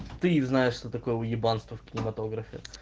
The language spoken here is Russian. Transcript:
ты знаешь что такое уебанство в кинематографе